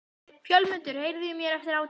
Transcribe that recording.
Fjólmundur, heyrðu í mér eftir átján mínútur.